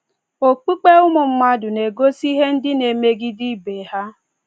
Okpukpe ụmụ mmadụ na - egosi ihe ndị na - emegide ibe ha.